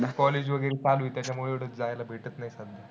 College वगैरे चालू आहे. त्याच्यामुळे एवढं जायला भेटत नाही सध्या.